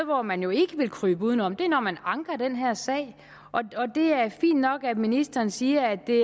hvor man jo ikke vil krybe udenom er når man anker den her sag det er fint nok at ministeren siger at det